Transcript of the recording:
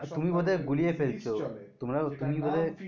তুমি বোধয় গুলিয়ে ফেলছো তোমরা তুমি বোধয়